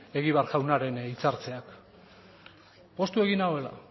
egibar jaunaren hitzartzeak poztu egin nauela